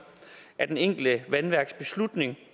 af det enkelte vandværks beslutning